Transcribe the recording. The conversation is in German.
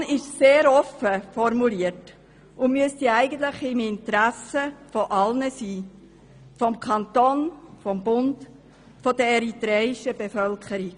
Die Motion ist sehr offen formuliert und müsste eigentlich im Interesse aller liegen – des Kantons, des Bundes, der eritreischen Bevölkerung.